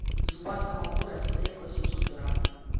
зубатка магуро стейк восемьсот грамм